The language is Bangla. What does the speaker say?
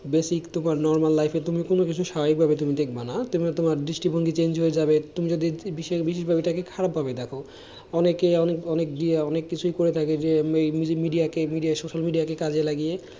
normal life তুমি কোনো কিছু তুমিও তোমার দৃষ্টি ভঙ্গি তোমার change হয়ে যাবে তুমি যদি খারাপ ভাবে দেখো অনেকেই অনেক কিছু করে থাকে media social media কে কাজে লাগিয়ে,